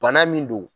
Bana min don